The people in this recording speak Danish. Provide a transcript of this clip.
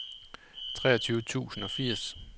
treogtyve tusind og firs